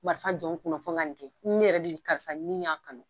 Marifa jɔn n kunna ko n ka nin kɛ ne yɛrɛ de karisa ni y'a kanu